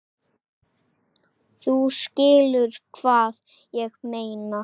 Þú skilur hvað ég meina?